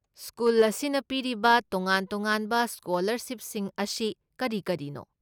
School ꯑꯁꯤꯅ ꯄꯤꯔꯤꯕ ꯇꯣꯉꯥꯟ ꯇꯣꯉꯥꯟꯕ ꯁ꯭ꯀꯣꯂꯔꯁꯤꯞꯁꯤꯡ ꯑꯁꯤ ꯀꯔꯤ ꯀꯔꯤꯅꯣ?